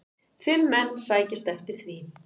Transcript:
Fimm menn sækjast eftir því.